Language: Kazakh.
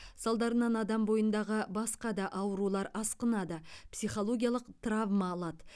салдарынан адам бойындағы басқа да аурулар асқынады психологиялық травма алады